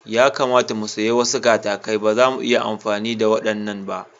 Ya kamata mu sayi wasu katakai, ba zamu iya amfani da waɗannan ba.